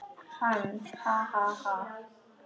Hann: Ha ha ha.